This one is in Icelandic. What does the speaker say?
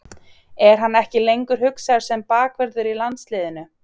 Er hann ekki lengur hugsaður sem bakvörður í landsliðinu?